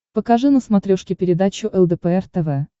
покажи на смотрешке передачу лдпр тв